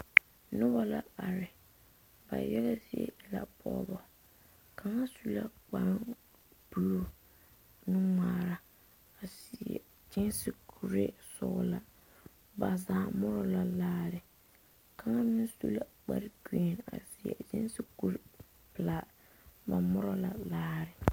Noba la are ba yaga zie e la pɔgebao kaŋ su la kpare buluu nu ŋmaara a seɛ gesi kuri sɔglaa ba zaa more la laare kaŋa meŋ su kpare gari a seɛ gesi kuri pelaa ba more la laare.